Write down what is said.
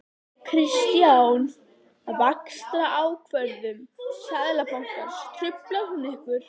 Kristján: Vaxtaákvörðun Seðlabankans, truflar hún ykkur?